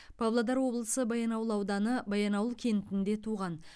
павлодар облысы баянауыл ауданы баянауыл кентінде туған